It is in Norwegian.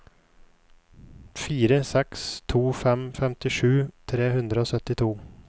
fire seks to fem femtisju tre hundre og syttito